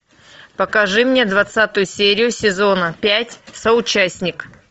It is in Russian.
покажи мне двадцатую серию сезона пять соучастник